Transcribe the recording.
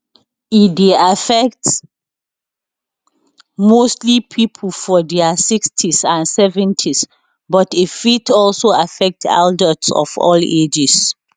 e dey affect mostly pipo for dia 60s and 70s but e fit also affect adults of all ages